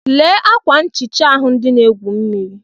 Lee ákwà nchịcha ahụ ndị na-egwu mmiri.